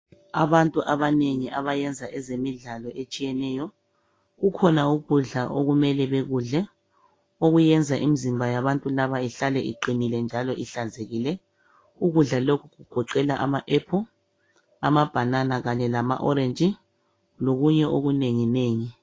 Abantu abanengi abayenza ezemidlalo etshiyeneyo kukhona ukudla okumele bekule okuyenza imizimba yalabobantu ihlale iqinile njalo ihlanzekile okugoqela ama ephulu ,amabhanana kanye lama orenji lokunye okunenginengi.